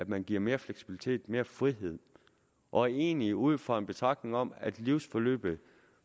man giver mere fleksibilitet mere frihed og egentlig er det ud fra en betragtning om at livsforløbet